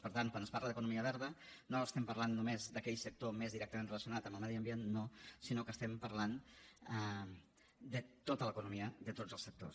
per tant quan es parla d’economia verda no estem parlant només d’aquell sector més directament relacionat amb el medi ambient no sinó que estem parlant de tota l’economia de tots els sectors